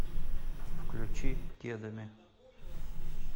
включи кедами